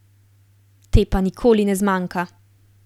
Te pa nikoli ne zmanjka.